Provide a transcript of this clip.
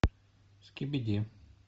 скибиди